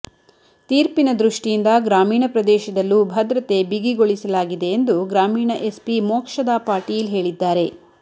ತೀರ್ಪಿನ ದೃಷ್ಟಿಯಿಂದ ಗ್ರಾಮೀಣ ಪ್ರದೇಶದಲ್ಲೂ ಭದ್ರತೆ ಬಿಗಿಗೊಳಿಸಲಾಗಿದೆ ಎಂದು ಗ್ರಾಮೀಣ ಎಸ್ಪಿ ಮೋಕ್ಷದಾ ಪಾಟೀಲ್ ಹೇಳಿದ್ದಾರೆ